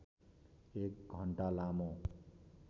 एक घण्टा लामो